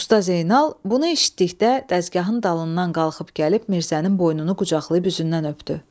Usta Zeynal bunu eşitdikdə dəzgahın dalından qalxıb gəlib Mirzənin boynunu qucaqlayıb üzündən öpdü.